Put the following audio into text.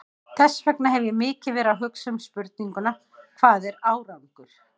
Þess vegna hef ég mikið verið að hugsa um spurninguna, hvað er árangur?